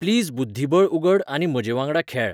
please बुद्धीबळ उगड आनी म्हजेवांगडा खेळ